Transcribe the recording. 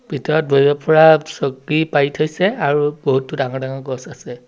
ভিতৰত বহিব পৰা চকী পাৰি থৈছে আৰু বহুতো ডাঙৰ ডাঙৰ গছ আছে।